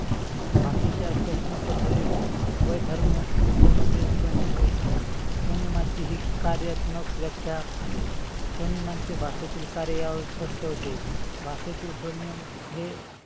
भाषेच्या स्वपण पद्धतीत बिंदू म्हजे स्वनेम होय. स्वनेयामाचे हे कार्यात्मक व्याख्या आहे. स्वनेमाचे भाषेतील कार्य यावरून स्पष्ट होते. भाषेतील स्वनेम हे